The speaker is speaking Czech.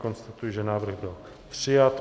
Konstatuji, že návrh byl přijat.